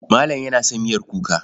Malam yana son miyar kuka.